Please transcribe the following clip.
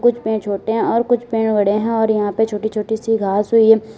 छोटे हैं और कुछ पेड़ बड़े हैं और यहां पे छोटी छोटी सी घास हुई है।